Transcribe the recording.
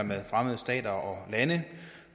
med fremmede stater